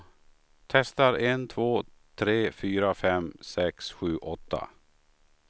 Testar en två tre fyra fem sex sju åtta.